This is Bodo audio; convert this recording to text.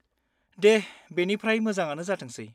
दे बेनिफ्राय मोजाङानो जाथोंसै।